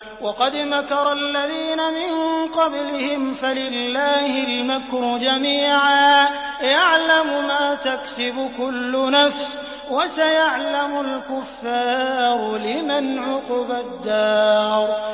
وَقَدْ مَكَرَ الَّذِينَ مِن قَبْلِهِمْ فَلِلَّهِ الْمَكْرُ جَمِيعًا ۖ يَعْلَمُ مَا تَكْسِبُ كُلُّ نَفْسٍ ۗ وَسَيَعْلَمُ الْكُفَّارُ لِمَنْ عُقْبَى الدَّارِ